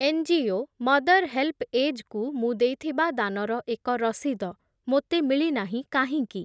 NGO mother HelpAge କୁ ମୁଁ ଦେଇଥିବା ଦାନର ଏକ ରସିଦ ମୋତେ ମିଳିନାହିଁ କାହିଁକି?